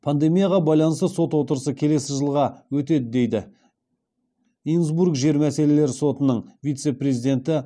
пандемияға байланысты сот отырысы келесі жылы өтеді дейді инсбрук жер мәселелері сотының вице президенті